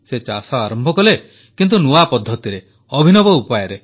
ସେ ଚାଷ ଆରମ୍ଭ କଲେ କିନ୍ତୁ ନୂଆ ପଦ୍ଧତିରେ ଅଭିନବ ଉପାୟରେ